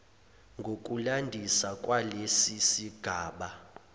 ngokulandisa kwalesi sigaba